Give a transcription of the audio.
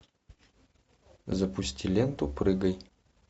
запусти ленту прыгай